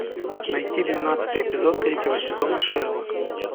найти двенадцатый эпизод третьего сезона шерлок